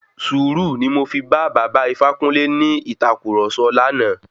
Sùúrù ni mo fi bá baba Ifákúnle ní ìtàkurọ̀sọ lánàá.